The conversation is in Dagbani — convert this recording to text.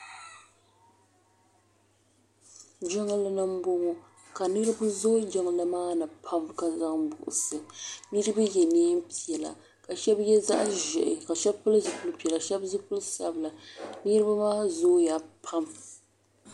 Jingli ni m bɔŋɔ ka niriba zooi jingli maa ni pam bɛ ka zaŋ buɣisi niriba yɛ neen piɛlla ka shɛba yɛ zaɣi ʒehi ka pili zipili piɛlla shɛba zipili sabila niriba maa zooya pam.